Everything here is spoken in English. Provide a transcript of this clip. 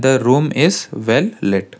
the room is well let--